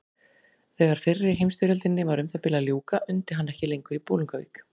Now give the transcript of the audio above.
Þegar fyrri heimsstyrjöldinni var um það bil að ljúka undi hann ekki lengur í Bolungarvík.